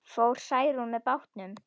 Fór Særún með bátnum.